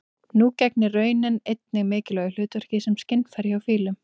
Nú gegnir raninn einnig mikilvægu hlutverki sem skynfæri hjá fílum.